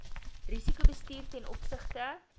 risikobestuur ten opsigte